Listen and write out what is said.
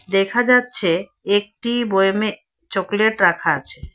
দেখা যাচ্ছে একটি বোয়েমে চকলেট রাখা আছে।